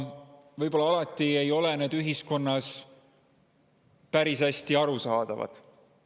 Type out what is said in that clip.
Võib-olla ei ole need ühiskonnas päris hästi arusaadavad.